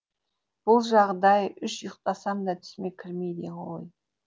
бұл жағдай үш ұйықтасам да түсіме кірмейді ғой